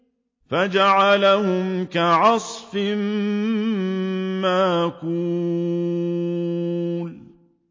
فَجَعَلَهُمْ كَعَصْفٍ مَّأْكُولٍ